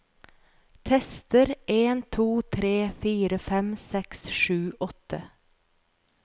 Tester en to tre fire fem seks sju åtte